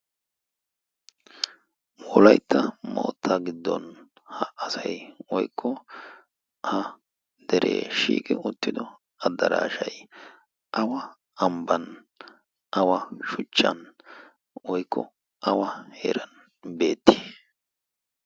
woolaitta maotta giddon ha asai oykko ha deree shiiqi ottido addaraashai awa ambban awa shuchchan woykko awa heeran beettii?